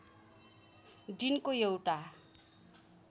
दिनको एउटा